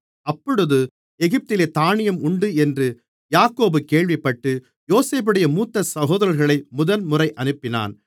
அப்பொழுது எகிப்திலே தானியம் உண்டு என்று யாக்கோபு கேள்விப்பட்டு யோசேப்புடைய மூத்த சகோதரர்களை முதல்முறை அனுப்பினான்